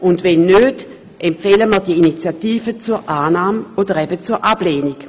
Und wenn nicht, empfehlen wir die Initiative zur Annahme oder zur Ablehnung?